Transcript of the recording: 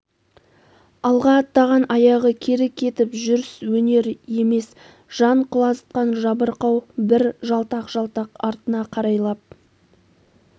алға аттаған аяғы кері кетіп жүрс өнер емес жан құлазытқан жабырқау бір жалтақ-жалтақ артына қарайлап